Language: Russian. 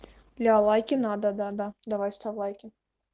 бля лайки надо да-да давай ставь лайки